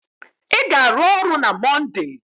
Ị ga-arụ ọrụ na Monde!